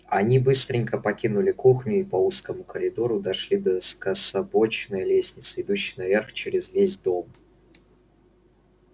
они быстренько покинули кухню и по узкому коридору дошли до скособоченной лестницы идущей наверх через весь дом